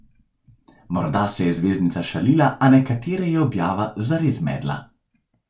Morda se je zvezdnica šalila, a nekatere je objava zares zmedla.